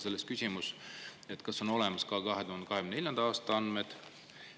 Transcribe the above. Sellest küsimus: kas on olemas ka 2024. aasta andmed?